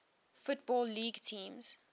football league teams